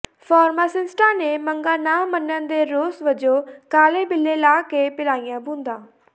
ਫਾਰਮਾਸਿਸਟਾਂ ਨੇ ਮੰਗਾਂ ਨਾ ਮੰਨਣ ਦੇ ਰੋਸ ਵਜੋਂ ਕਾਲੇ ਬਿੱਲੇ ਲਾ ਕੇ ਪਿਲਾਈਆਂ ਬੂੰਦਾਂ